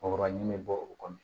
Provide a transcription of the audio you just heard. Kɔgɔ ɲini bɛ bɔ o kɔnɔ